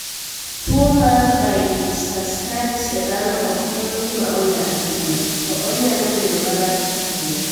Tuwo mar Baylisascaris e dhano ok en gima onya ahinya, to onyalo bedo marach ahinya.